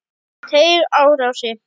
Teigarási